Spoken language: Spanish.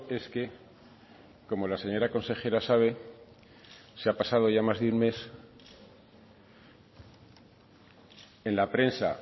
es que como la señora consejera sabe se ha pasado ya más de un mes en la prensa